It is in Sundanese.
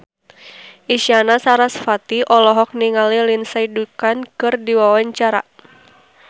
Isyana Sarasvati olohok ningali Lindsay Ducan keur diwawancara